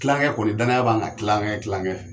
Kilankɛ kɔni danaya b'an kan kilankɛ kilankɛ.